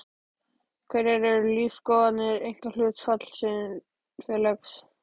Hverjar eru lífsskoðanir einkahlutafélags?